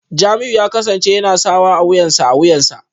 Jamiu ya kasance yana sawa a wuyansa a wuyansa